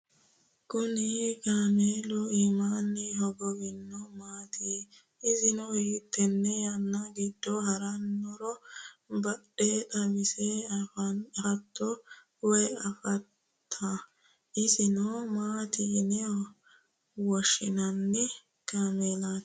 kuni kaameli imaani hoogowinohu maati? issino hiitene yana gido haraninoro bade xawise affato woyi affata? isino maati yine wooshinani kaamelati?